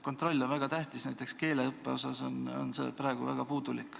Kontroll on väga tähtis, aga näiteks keeleõppe osas on see praegu väga puudulik.